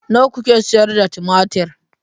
Nawa kuke sayar da tumatir?